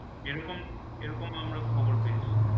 যেরকম এরকম আমরা খবর পেয়েছি।